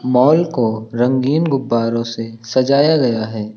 Mall को रंगीन गुब्बारों से सजाया गया है।